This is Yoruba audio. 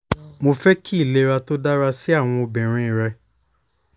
mo fẹ ki ilera to dara si awọn ọmọbirin rẹ